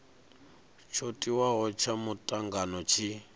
tsho tiwaho tsha mutangano tshi